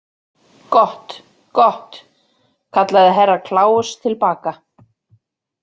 Gott, gott, kallaði Herra Kláus til baka.